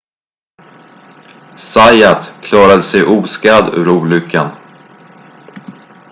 zayat klarade sig oskadd ur olyckan